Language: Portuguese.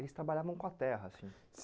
Eles trabalhavam com a terra, assim?